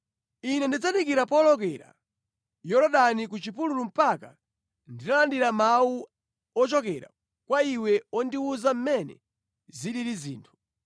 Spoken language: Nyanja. Ine ndidzadikira powolokera Yorodani ku chipululu mpaka nditalandira mawu ochokera kwa iwe ondiwuza mmene zilili zinthu.”